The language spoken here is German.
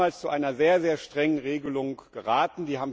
Die haben uns damals zu einer sehr, sehr strengen Regelung geraten.